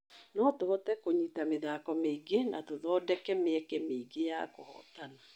Notũhote kũnyita mĩthako mĩingĩ na tũthondeke mĩeke mĩingĩ ya kũhotana.